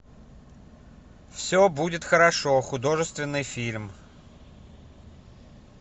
все будет хорошо художественный фильм